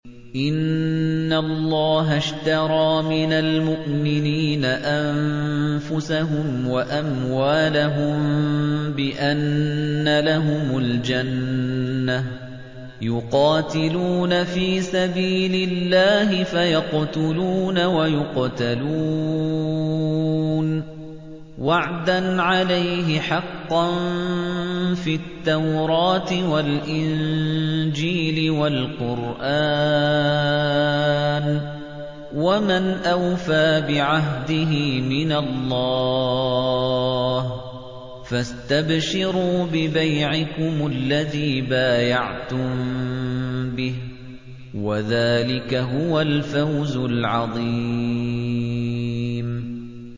۞ إِنَّ اللَّهَ اشْتَرَىٰ مِنَ الْمُؤْمِنِينَ أَنفُسَهُمْ وَأَمْوَالَهُم بِأَنَّ لَهُمُ الْجَنَّةَ ۚ يُقَاتِلُونَ فِي سَبِيلِ اللَّهِ فَيَقْتُلُونَ وَيُقْتَلُونَ ۖ وَعْدًا عَلَيْهِ حَقًّا فِي التَّوْرَاةِ وَالْإِنجِيلِ وَالْقُرْآنِ ۚ وَمَنْ أَوْفَىٰ بِعَهْدِهِ مِنَ اللَّهِ ۚ فَاسْتَبْشِرُوا بِبَيْعِكُمُ الَّذِي بَايَعْتُم بِهِ ۚ وَذَٰلِكَ هُوَ الْفَوْزُ الْعَظِيمُ